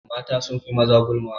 Mata sun fi maza gulma.